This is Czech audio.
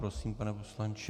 Prosím, pane poslanče.